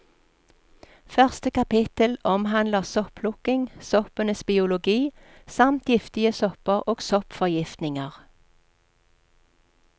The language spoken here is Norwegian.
Første kapittel omhandler sopplukking, soppenes biologi samt giftige sopper og soppforgiftninger.